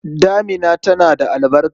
Damina tana da albarka.